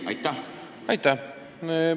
Aitäh!